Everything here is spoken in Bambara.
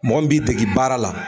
Mɔgɔ min b'i degi baara la